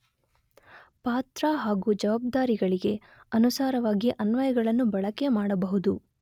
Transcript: ಪಾತ್ರ ಹಾಗು ಜವಾಬ್ದಾರಿಗಳಿಗೆ ಅನುಸಾರವಾಗಿ ಅನ್ವಯಗಳನ್ನು ಬಳಕೆ ಮಾಡಬಹುದು.